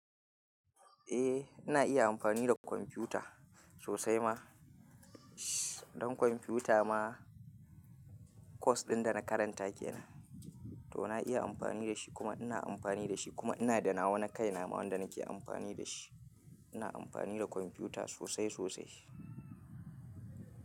Eh ina iya amfani da kwamfuta sosai ma. Don kwamfuta ma course ɗin da na karanta kenan to na iya amfani da shi kuma ina amfani da shi kuma ina da nawa na kai na ma wanda nake amfani da shi. Ina amfani da kwamfuta sosai sosai.